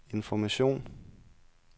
information